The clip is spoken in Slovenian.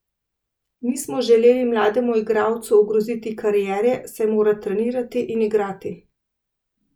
Nismo želeli mlademu igralcu ogroziti kariere, saj mora trenirati in igrati.